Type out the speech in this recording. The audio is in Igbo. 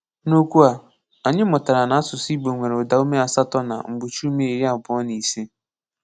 N’okwu a, anyị mụtara na asụsụ Igbo nwere udaume asatọ na mgbochiume iri abuo na isii.